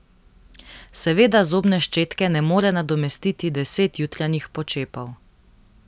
Seveda zobne ščetke ne more nadomestiti deset jutranjih počepov.